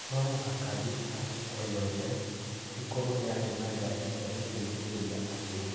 No mũhaka thibitarĩ o yothe ĩkorũo yarĩ na ngaari cia gũteithĩrĩria andũ.